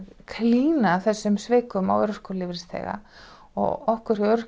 klína þessum svikum á örorkulífeyrisþega og okkur hjá